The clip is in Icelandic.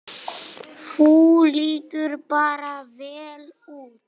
Þú lítur bara vel út!